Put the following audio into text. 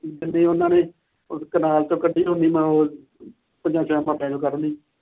ਜਿੰਨੀ ਉਹਨਾਂ ਨੇ ਕਨਾਲ ਤੋਂ ਕੱਢੀ ਉਹਨੀ ਮੈਂ ਹੋਰ ਉੱਨੀ ਪਹਿਲੋਂ ਕੱਢ ਲਈਆਂ।